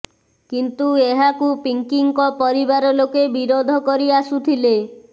କିନ୍ତୁ ଏହାକୁ ପିଙ୍କିଙ୍କ ପରିବାର ଲୋକେ ବିରୋଧ କରି ଆସୁଥିଲେ